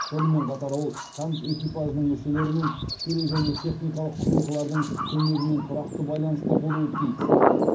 сонымен қатар ол танк экипажының мүшелерімен тікелей және техникалық құрылғылардың көмегімен тұрақты байланыста болуы тиіс